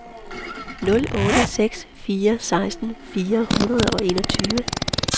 nul otte seks fire seksten fire hundrede og enogtyve